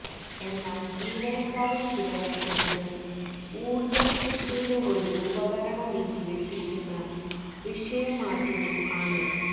എന്നാൽ ജീവനക്കാരൻ ചിലവഴിക്കുന്നത് ഊർജ്ജം സൃഷ്ടിയുടെ ഒരു ഉപകരണം നീക്കിവച്ചിരിക്കുന്ന വിഷയം മാറ്റുന്നു ആണ്